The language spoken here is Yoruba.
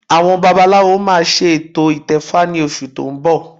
Àwọn babaláwo máa ṣe ètò ìtẹfa ní oṣù tó ń bọ̀